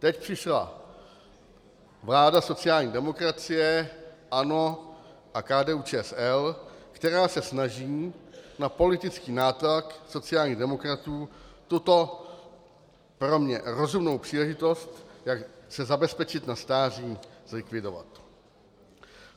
Teď přišla vláda sociální demokracie, ANO a KDU-ČSL, která se snaží na politický nátlak sociálních demokratů tuto pro mě rozumnou příležitost, jak se zabezpečit na stáří, zlikvidovat.